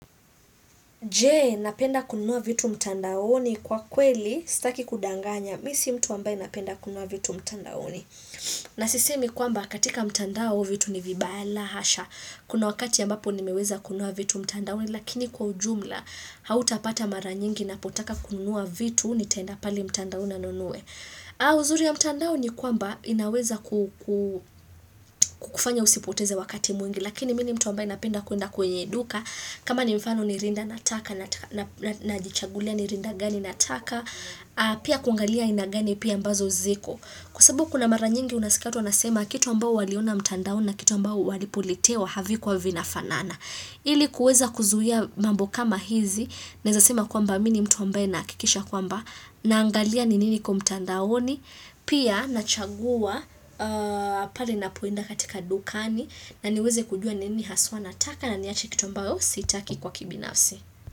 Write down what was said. Jee, napenda kunua vitu mtandaoni kwa kweli, staki kudanganya. Misi mtu ambaye napenda kunua vitu mtandaoni. Nasisemi kwamba katika mtandao vitu ni vibaya la hasha. Kuna wakati ambapo ni meweza kunua vitu mtandaoni, lakini kwa ujumla, hauta pata mara nyingi na potaka kunua vitu, ni taenda pali mtandaona nanue. Ha, uzuri ya mtandao ni kwamba inaweza kufanya usipoteze wakati mwingi, lakini mini mtu ambaye napenda kuenda kwenye duka, kama ni mfano ni rinda nataka na jichagulia ni rinda gani nataka Pia kungalia aina gani pia ambazo ziko Kwa sabu kuna mara nyingi unasika watu wa nasema kitu ambao waliona mtandaoni na kitu ambao walipolitewa havi kuwa vinafanana ili kuweza kuzuhia mambo kama hizi Naeza sema kwamba mini mtu ambaye nakikisha kwamba Naangalia ninini kwa mtandaoni Pia nachagua pale napoenda katika dukani na niweze kujua nini haswa na taka na niache kitu ambao sitaki kwa kibinafsi.